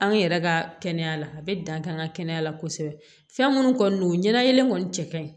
An yɛrɛ ka kɛnɛya la a bɛ dan kɛ an ka kɛnɛya la kosɛbɛ fɛn minnu kɔni don ɲɛnalen kɔni cɛ ka ɲi